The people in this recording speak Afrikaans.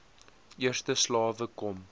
eerste slawe kom